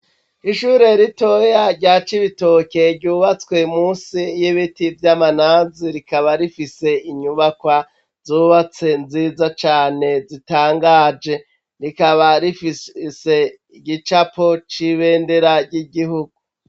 Ishure ritoya rya Cibitoke, ryubatswe munsi y'ibiti vy'amanazi, rikaba rifise inyubakwa zubatse nziza cane zitangaje rikaba rifise igicapo c'ibendera ry'igihugu.